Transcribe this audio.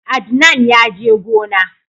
Adnan ya je gona